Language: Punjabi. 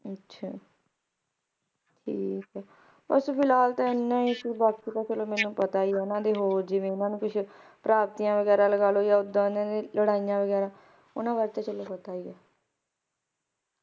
ਅੱਛਾ ਠੀਕ ਹੈ ਬਸ ਫਿਲਹਾਲ ਤਾਂ ਏਨਾ ਹੀ ਸੀ ਤੇ ਬਾਕੀ ਤਾਂ ਮੈਨੂੰ ਪਤਾ ਹੀ ਹੈ ਜਿਣੇਵੀਂ ਹੋਰ ਓਹਨਾਂ ਨੇ ਕੁਝ ਵਗੈਰਾ ਲਗਾਲੋ ਜਾਂ ਏਦਾਂ ਲੜਾਈਆਂ ਵਗੈਰਾ ਓਨਾ ਵਾਸਤੇ ਤੈਨੂੰ ਪਤਾ ਹੀ ਹੈ